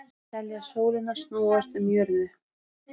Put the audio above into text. Telja sólina snúast um jörðu